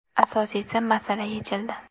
Asosiysi, masala yechildi.